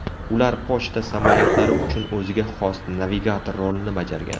Ular pochta samolyotlari uchun o‘ziga xos navigator rolini bajargan.